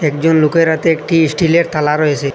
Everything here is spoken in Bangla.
একজন লোকের হাতে একটি স্টিলের থালা রয়েসে।